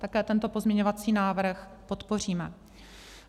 Také tento pozměňovací návrh podpoříme.